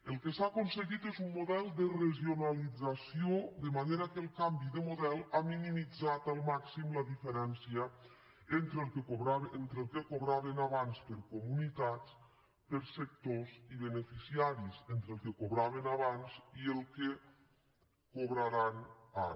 el que s’ha aconseguit és un model de regionalització de manera que el canvi de model ha minimitzat al màxim la diferència entre el que cobraven abans per comunitats per sectors i beneficiaris entre el que cobraven abans i el que cobraran ara